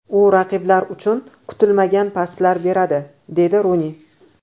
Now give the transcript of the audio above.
U raqiblar uchun kutilmagan paslar beradi”, deydi Runi .